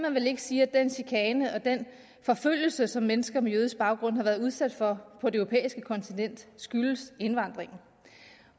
sige at den chikane og den forfølgelse som mennesker med jødisk baggrund har været udsat for på det europæiske kontinent skyldes indvandring